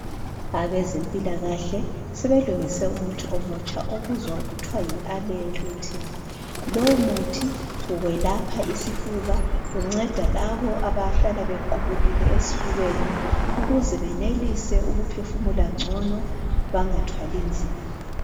Abezempilakahle sebelungise umuthi omutsha obizwa kuthiwa yi "Aller-itin" lomuthi welapha isifuba, unceda labo abahlala bequbukile esifubeni, ukuze benelise ukuphefumula ngcono bengathwali nzima.